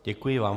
Děkuji vám.